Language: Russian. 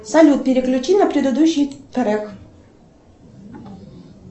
салют переключи на предыдущий трек